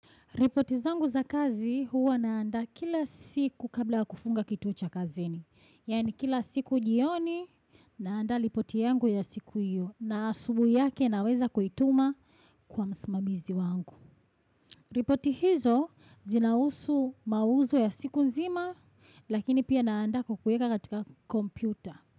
Ripoti zangu za kazi huwa naandaa kila siku kabla wa kufunga kituo cha kazi. Yaani kila siku jioni naandsa ripoti yangu ya siku hiyo na asubuhi yake naweza kuituma kwa msimamizi wangu. Ripoti hizo zinahusu mauzo ya siku nzima lakini pia naandaa kuweka katika kompyuta.